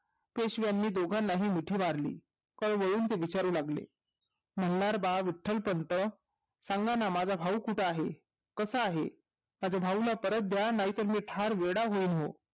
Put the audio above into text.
पेशवाना दोघांना हि मिठी मारली ते वळून विचारू लागले मल्हार बाळ विट्टलपंत सांगाना माझा भाऊ कुठे आहे कसा आहे माझ्या भाऊला परत दया नाहीतर मी वेडा होईन